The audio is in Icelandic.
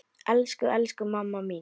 Elsku, elsku mamma mín.